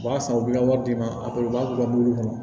O b'a san u bɛ ka wari di ne ma a bɛɛ b'a bila mulu kɔnɔ